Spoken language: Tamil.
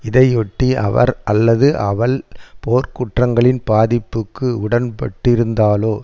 இதையொட்டி அவர் அல்லது அவள் போர்க்குற்றங்களின் பாதிப்புக்கு உட்பட்டிருந்தாலோ